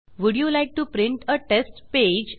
would you like to print a test page